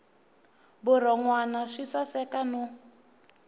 vurhon wana swi saseka no